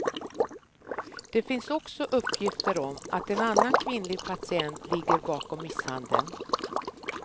Det finns också uppgifter om att en annan kvinnlig patient ligger bakom misshandeln.